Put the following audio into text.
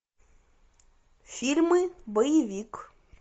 фильмы боевик